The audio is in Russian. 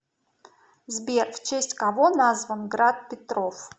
сбер в честь кого назван град петров